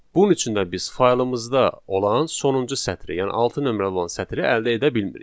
Bunun üçün də biz faylımızda olan sonuncu sətri, yəni altı nömrəli olan sətri əldə edə bilmirik.